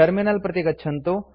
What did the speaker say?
terminal प्रति गच्छन्तु